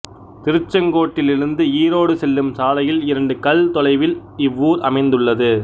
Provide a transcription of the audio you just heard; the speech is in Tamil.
திருச்செங்கோட்டிலிருந்து ஈரோடு செல்லும் சாலையில் இரண்டு கல் தொலைவில் இவ்வூர் அமைந்துள்ளது